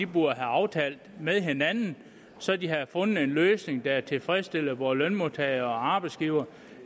burde have aftalt med hinanden så de havde fundet en løsning der tilfredsstillede både lønmodtagere og arbejdsgivere